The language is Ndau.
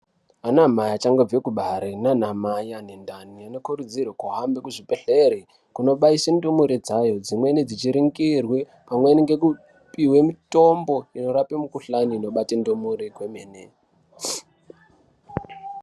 Ana mai achango kubare nanamai anendani anokurudzirwa aende kuchibhedhlere kunobaisa ndumure dzayo dzimweni dzichiringirwe pamweni ngekupihwe mitombo inorape mukuhlani inobate ndumure kwemene.